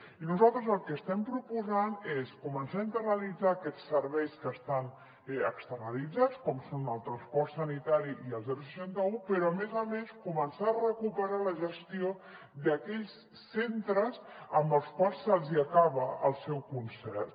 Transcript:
i nosaltres el que estem proposant és començar a internalitzar aquests serveis que estan externalitzats com són el transport sanitari i el seixanta un però a més a més començar a recuperar la gestió d’aquells centres als quals se’ls hi acaba el seu concert